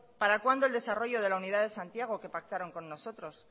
para cuando el desarrollo de santiago que pactaron con nosotros